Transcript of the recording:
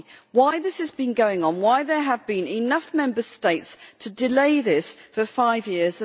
Why has this been going on? Why have there been enough Member States to delay this for five years?